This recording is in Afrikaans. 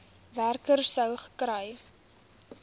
werker sou gekry